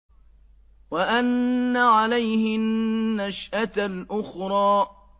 وَأَنَّ عَلَيْهِ النَّشْأَةَ الْأُخْرَىٰ